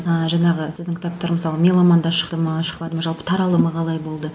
ыыы жаңағы сіздің кітаптар мысалы меломанда шықты ма шықпады ма жалпы таралымы қалай болды